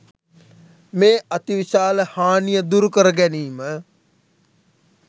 මේ අති විශාල හානිය දුරු කර ගැනීම